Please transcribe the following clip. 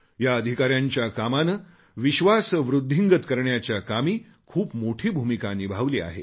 या अधिकाऱ्यांच्या कामाने विश्वास वृद्धिंगत करण्याच्या कामी खूप मोठी भूमिका निभावली आहे